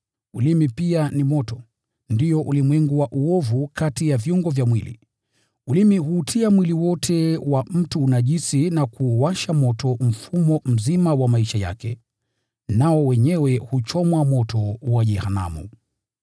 Ulimi pia ni moto, ndio ulimwengu wa uovu kati ya viungo vya mwili. Ulimi huutia mwili wote wa mtu unajisi na kuuwasha moto mfumo mzima wa maisha yake, nao wenyewe huchomwa moto wa jehanamu.